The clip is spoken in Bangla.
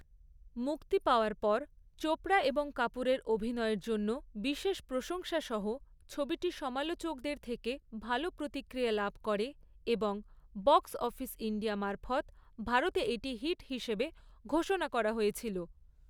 মুক্তি পাওয়ার পর, চোপড়া এবং কাপুরের অভিনয়ের জন্য বিশেষ প্রশংসা সহ ছবিটি সমালোচকদের থেকে ভালো প্রতিক্রিয়া লাভ করে এবং বক্স অফিস ইন্ডিয়া মারফৎ ভারতে এটি হিট হিসেবে ঘোষণা করা হয়েছিল।